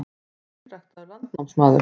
Þú ert hreinræktaður landnámsmaður.